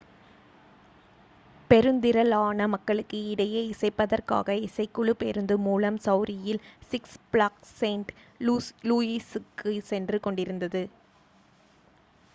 பெருந்திரளான மக்களுக்கு இடையே இசைப்பதற்காக இசைக்குழு பேருந்து மூலம் மிசௌரியில் six ஃப்ளாக்ஸ் செயின்ட் லூயிசுக்கு சென்று கொண்டிருந்தது